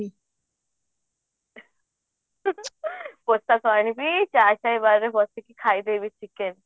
ପୋଷାକ ଆଣିବି ଖାଇଦେବି chicken